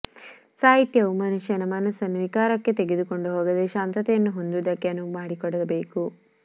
ಸಾಹಿತ್ಯವು ಮನುಷ್ಯನ ಮನಸ್ಸನ್ನು ವಿಕಾರಕ್ಕೆ ತೆಗೆದುಕೊಂಡು ಹೋಗದೆ ಶಾಂತತೆಯನ್ನು ಹೊಂದುವುದಕ್ಕೆ ಅನುವು ಮಾಡಿಕೊಡಬೇಕು